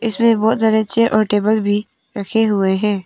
इसमें बहोत सारे चेयर और टेबल भी रखे हुए है।